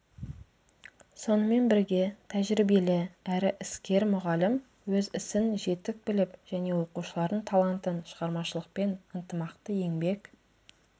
сонымен бірге тәжірибелі әрі іскер мұғалім өз ісін жетік біліп және оқушылардың талантын шығармашылықпен ынтымақты еңбек